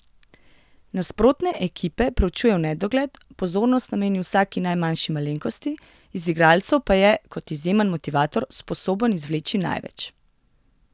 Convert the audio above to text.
Nasprotne ekipe preučuje v nedogled, pozornost nameni vsaki najmanjši malenkosti, iz igralcev pa je, kot izjemen motivator, sposoben izvleči največ.